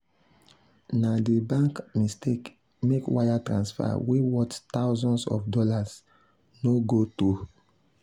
na the bank mistake make wire transfer wey worth thousands of dollars no go through.